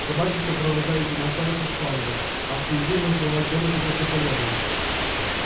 собаки сопровождали демонстрацию с флангов а впереди маршировал чёрный петух наполеона